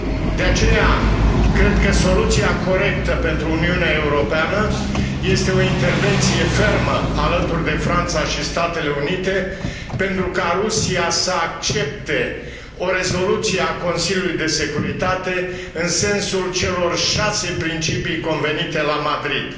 De aceea, cred că soluția corectă pentru Uniunea Europeană, este o intervenție fermă alături de Franța și Statele Unite pentru ca Rusia să accepte o rezoluție a Consiliului de Securitate în sensul celor șase principii convenite la Madrid.